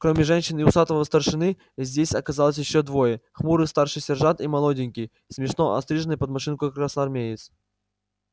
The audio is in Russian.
кроме женщин и усатого старшины здесь оказались ещё двое хмурый старший сержант и молоденький смешно остриженный под машинку красноармеец